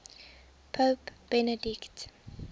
pope benedict